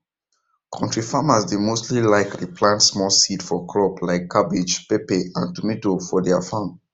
kontri farmers dey mostly like re plant small seeds for crops like cabbage pepper and tomato for deir farm